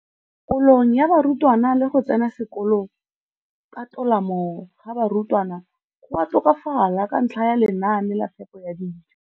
Kolong ga barutwana le go tsena sekolo ka tolamo ga barutwana go a tokafala ka ntlha ya lenaane la phepo ya dijo.